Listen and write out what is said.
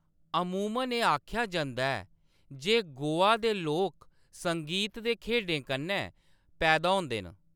अमूमन एह्‌‌ आखेआ जंदा ऐ जे 'गोवा दे लोक संगीत ते खेढें कन्नै पैदा होंदे न'।